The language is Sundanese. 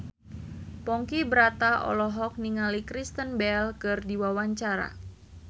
Ponky Brata olohok ningali Kristen Bell keur diwawancara